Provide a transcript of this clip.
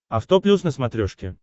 авто плюс на смотрешке